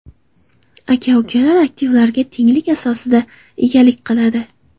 Aka-ukalar aktivlarga tenglik asosida egalik qiladi.